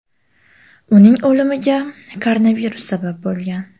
Uning o‘limiga koronavirus sabab bo‘lgan.